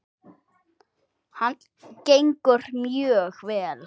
Hann gengur mjög vel.